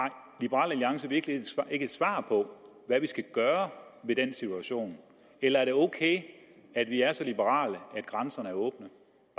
liberal alliance virkelig ikke et svar på hvad vi skal gøre ved den situation eller er det ok at vi er så liberale at grænserne er åbne